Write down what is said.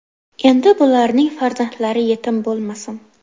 Endi bularning farzandlari yetim bo‘lmasin.